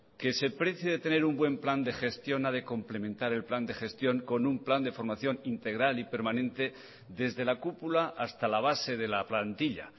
que se precie de tener un plan de gestión a de complementar el plan de gestión con un plan de formación integral y permanente desde la cúpula hasta la base de la plantilla